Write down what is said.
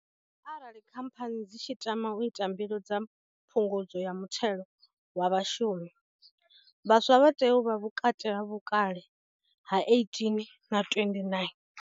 Arali khamphani dzi tshi tama u ita mbilo dza phungudzo ya muthelo wa vhashumi, vhaswa vha tea u vha vhukati ha vhukale ha 18 na 29.